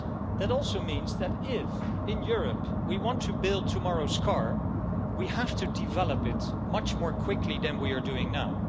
That also means that if in Europe we want to build tomorrow's car, we have to develop it much more quickly than we are doing now.